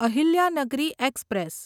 Ahilyanagari express